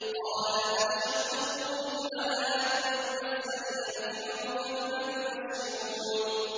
قَالَ أَبَشَّرْتُمُونِي عَلَىٰ أَن مَّسَّنِيَ الْكِبَرُ فَبِمَ تُبَشِّرُونَ